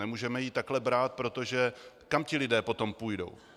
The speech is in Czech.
Nemůžeme ji takhle brát, protože kam ti lidé potom půjdou?